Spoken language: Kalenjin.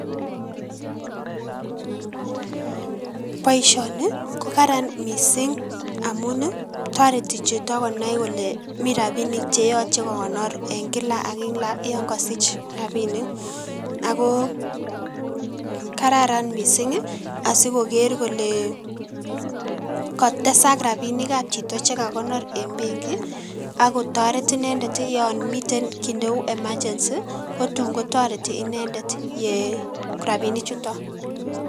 Boisioni kokararan mising amun toreti chito konai kole miten rapinik cheyoche kokonor en kila ak kila yon kosich rapinik , ako kararan mising asikokere kole katesak rapinik ab chito chekakonor en benki , akotoret inendet yon miten kiit neu emergency otun kotoreti rapinichuton.